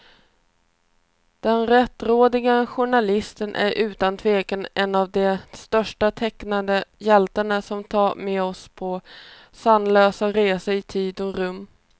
Den rättrådige journalisten är utan tvekan en av de största tecknade hjältarna, som tar med oss på sanslösa resor i tid och rum.